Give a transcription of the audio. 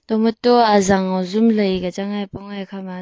tamato azang hujum lai ke chan a apong e ekha ma aa.